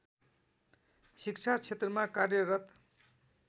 शिक्षा क्षेत्रमा कार्यरत